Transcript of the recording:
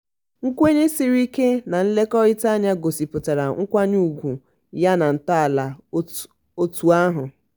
nkwenye sịrị ike na nlekọrịta anya gosipụtara nkwanye ugwu ya na ntọala otu ahụ.